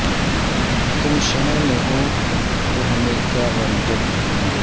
تم شہر میں ہوتو ہمیں کیا غم جب اٹھیں گے